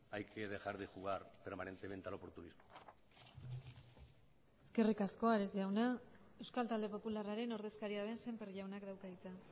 hay que dejar de jugar permanentemente al oportunismo eskerrik asko ares jauna euskal talde popularraren ordezkaria den sémper jaunak dauka hitza